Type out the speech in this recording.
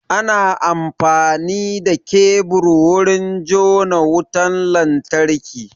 Ana amfani da kebur wurin jona wutan lantarki.